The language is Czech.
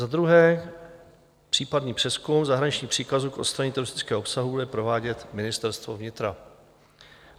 Za druhé, případný přezkum zahraničních příkazů k odstranění teroristického obsahu bude provádět Ministerstvo vnitra.